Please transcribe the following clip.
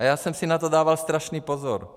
A já jsem si na to dával strašný pozor.